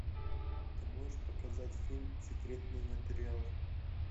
ты можешь показать фильм секретные материалы